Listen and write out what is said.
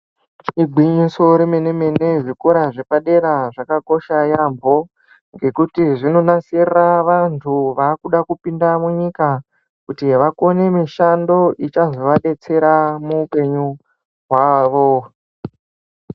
Igwinyiso remene mene zvikora zvepadera zvakakosha yambo ngekuti zvinonasirira vantu vakuda kupinda munyika kuti vakone mishando ichazova detsera muupenyu hwavo